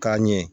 K'a ɲɛ